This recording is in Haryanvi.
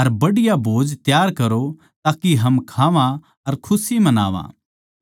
अर बढ़िया भोज तैयार करो ताके हम खावां अर खुशी मनावां